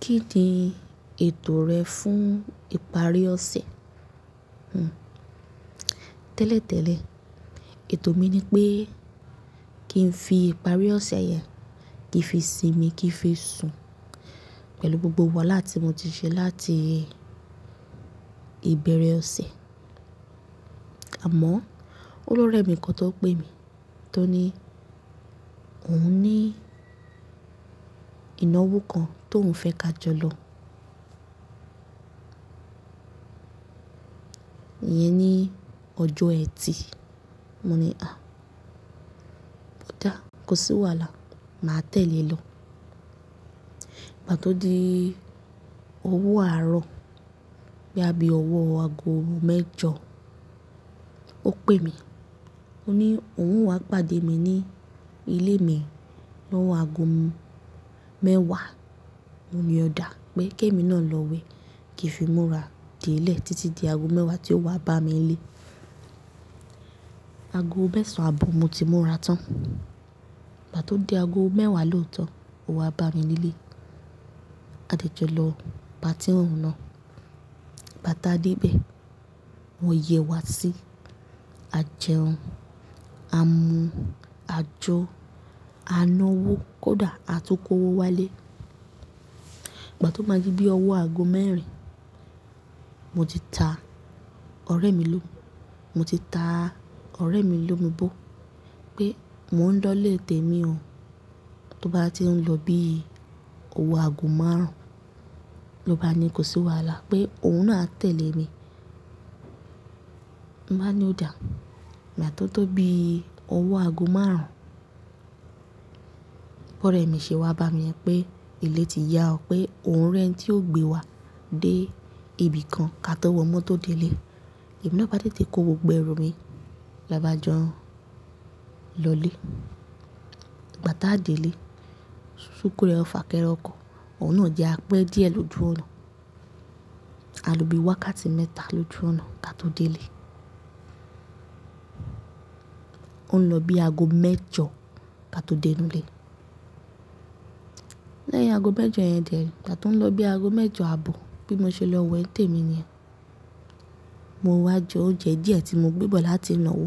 Kí ni ètò rẹ fún ìparí ọ̀sẹ̀? Tẹ́lẹ̀tẹ́lẹ̀, ètò mi ni pé kí n fi ìparí ọ̀sẹ̀ yẹn, kí n fi sinmi, kí n fi sùn pẹ̀lú gbogbo wàhálà tí mo ti ṣe láti ìbẹ̀rẹ̀ ọ̀sẹ̀. Àmọ́ olórẹ mi kan tó pè mí tó ní òun ní ìnáwó kan tó ń fẹ́ ka jọ lọ. Yẹn ni ọjọ́ ẹtì. Mo ní "à, mo dáa, kò sí wàhálà, màá tẹ̀lé lọ."Ìgbà tó di owó àárọ̀, boya bi ọwọ́ aago mẹ́jọ, ó pè mi. Ó ní òun wà pàdé mi ní ilé mi lọ́wọ́ aago mẹ́wàá. Mo ní ọ dáa pé kí èmi náà lọ wé, kí n fi múra dé ilé títí di aago mẹ́wàá tí ó wá bá mi nílé. Aago mẹ́sàn-án àbọ̀ mo ti múra tán. Ìgbà tó di aago mẹ́wàá lóòótọ́, ó wá bá mi nílé. A dé jọ lọ party oun náà. Gbá ti aa dé ibẹ̀, wọ́n yẹ̀ wá sí, a jẹun, a mu, a jó, a náwó, kódà a tún kó owó wálé. Ìgbà tó máa di bí ọwọ́ aago mẹ́rin, mo ti ta ọ̀rẹ́ mi lomu, mo ti ta ọ̀rẹ́ mi lomu bó pé mò ń lọ lè tèmi o. Tó bá ti ń lọ bí owó aago márùn-ún ló bá ní kò sí wàhálà pé òun náà á tẹ̀lé mi. Mo bá ni ọ dáa. Ìgbà tó tó bí owó aago márùn-ún, ọ̀rẹ́ mi ṣe wá bá mi pé ilé ti yá ọ pé òun rẹ́ ni tí ó gbé wa dé ibì kan ká tó wọ mọ́tò dé ilé. Ẹ̀mì náà bá tètè kó gbogbo ẹrù mi, la bá jọ́n lọ ilé. Ìgbà tá a dé ilé, súkúú rẹ ò fà kẹ́re ọ̀kọ̀, òun náà jẹ́ apẹ́ díẹ̀ lójú ọ̀nà. A lo bí wákàtí mẹ́ta lójú ọ̀nà ká tó dé ilé. Ó ń lọ bí aago mẹ́jọ ká tó dẹ́nú ilé. Lẹ́yìn aago mẹ́jọ yẹn dè, ìgbà tó ń lọ bí aago mẹ́jọ ààbọ̀ bí mo ṣe lọ we ni tè mi niyẹ́n, mo wá jẹ oúnjẹ díẹ̀ tí mo gbé bọ̀ láti ìnáwó.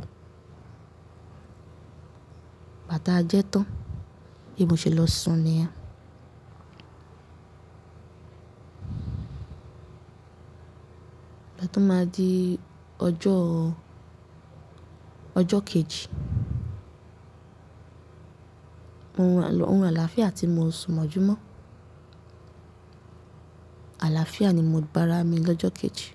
Ìgbà tá a jẹ tán, bí mo ṣe lọ sùn niyẹ́n. Ìgbà tó máa di ọjọ́, ọjọ́ kejì, òrun aláàfíà tí mo sùn mọ́júmọ́. Àlàáfíà ni mo ba ara mi lọ́jọ́ kejì.